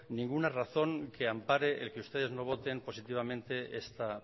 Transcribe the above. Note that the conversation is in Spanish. ninguna razón que ampare el que ustedes no voten positivamente esta